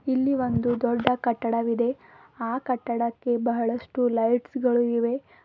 ಇಲ್ಲಿ ಒಂದು ದೊಡ್ಡ ಕಟ್ಟಡವಿದೆ ಆ ಕಟ್ಟಡಕ್ಕೆ ಬಹಳಷ್ಟು ಲೈಟ್ಸ್ ಗಳು ಇವೆ.